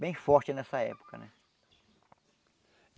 bem forte nessa época né.